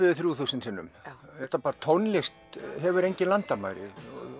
yfir þrjú þúsund sinnum tónlista hefur engin landamæri